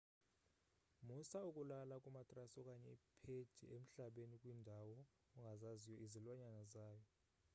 musa ukulala kumatrasi okanye iphedi emhlabeni kwiindawo ongazaziyo izilwanyana zayo